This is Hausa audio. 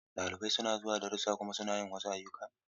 Ɗalibai suna zuwa darussa kuma suna yin wasu ayyuka.